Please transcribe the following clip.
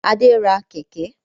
Adé ra Kẹ̀kẹ́